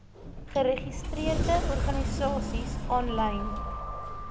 geregistreerde organisasies aanlyn